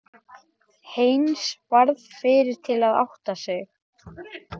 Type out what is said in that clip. Heinz varð fyrri til að átta sig.